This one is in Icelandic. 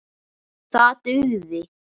Það dugði.